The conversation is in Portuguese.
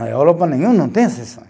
Na Europa nenhum não tem esse sonho.